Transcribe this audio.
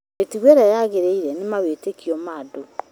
Mĩtũgo ĩrĩa yagĩrĩire na mawĩtĩkio ma andũ